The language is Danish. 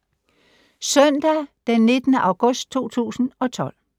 Søndag d. 19. august 2012